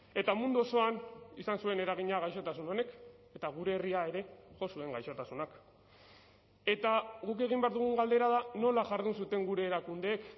eta mundu osoan izan zuen eragina gaixotasun honek eta gure herria ere jo zuen gaixotasunak eta guk egin behar dugun galdera da nola jardun zuten gure erakundeek